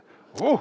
Oh!!